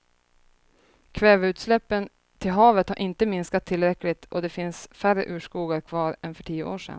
Kväveutsläppen till havet har inte minskat tillräckligt och det finns färre urskogar kvar än för tio år sedan.